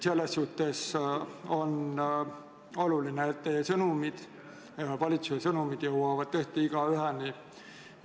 On väga oluline, et teie sõnumid ja valitsuse sõnumid jõuavad tõesti igaüheni.